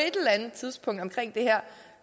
tidspunkt